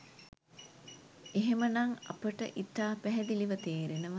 එහෙම නම් අපට ඉතා පැහැදිලිව තේරෙනවා